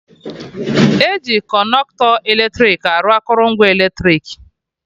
Eji Kọnọktọ eletrik arụ akụrụngwa eletrik